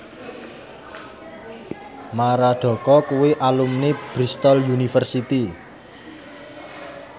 Maradona kuwi alumni Bristol university